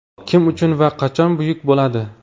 Kim uchun va qachon buyuk bo‘ladi?